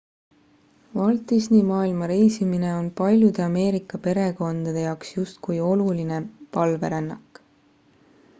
walt disney maailma reisimine on paljude ameerika perekondade jaoks justkui oluline palverännak